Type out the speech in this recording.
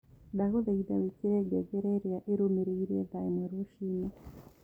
ndagũthaĩtha wĩkĩre ngengereĩrĩaĩrũmĩrĩĩre thaaĩmwe rũcĩĩnĩ